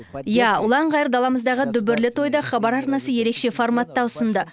иә ұлан ғайыр даламыздағы дүбірлі тойды хабар арнасы ерекше форматта ұсынды